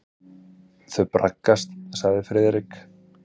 Þau braggast sagði Friðrik.